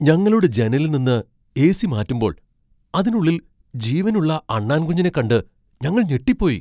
ഞങ്ങളുടെ ജനലിൽ നിന്ന് എ.സി. മാറ്റുമ്പോൾ അതിനുള്ളിൽ ജീവനുള്ള അണ്ണാൻകുഞ്ഞിനെ കണ്ട് ഞങ്ങൾ ഞെട്ടിപ്പോയി.